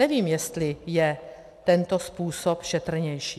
Nevím, jestli je tento způsob šetrnější.